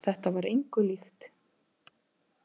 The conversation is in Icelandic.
Þetta var engu líkt.